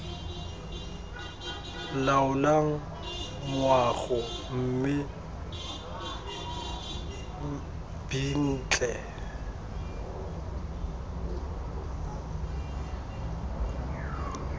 laolang moago mme b ntle